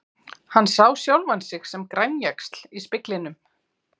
Hann sá sjálfan sig sem grænjaxl í speglinum.